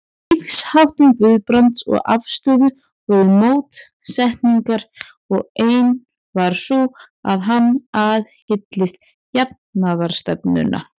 Í lífsháttum Guðbrands og afstöðu voru mótsetningar, og ein var sú, að hann aðhylltist jafnaðarstefnuna.